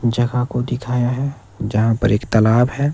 जगह को दिखाया है यहां पर एक तालाब है।